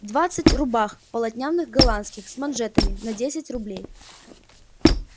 двадцать рубах полотняных голландских с манжетами на десять рублей